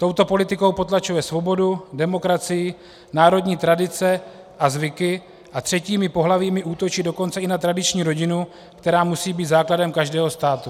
Touto politikou potlačuje svobodu, demokracii, národní tradice a zvyky, a třetími pohlavími útočí dokonce i na tradiční rodinu, která musí být základem každého státu.